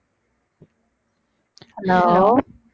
hello